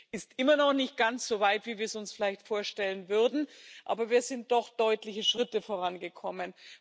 Es ist immer noch nicht ganz so weit, wie wir es uns vielleicht vorstellen würden, aber wir sind doch deutliche Schritte vorangekommen.